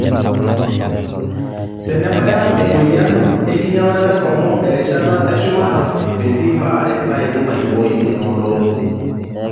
Tenebaya emoyian enkinyalata enkongu erishata eshumata, metii baare naidim aiboii emodoo.